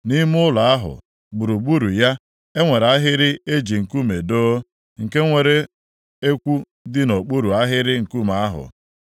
Nʼime ụlọ ahụ, gburugburu ya, e nwere ahịrị e ji nkume doo, nke nwere ekwu dị nʼokpuru ahịrị nkume ahụ.